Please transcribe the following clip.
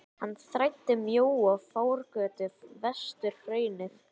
Hann þræddi mjóa fjárgötu vestur hraunið.